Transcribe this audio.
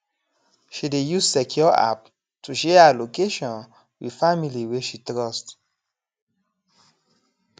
she dey use secure app to share her location with family wey she trust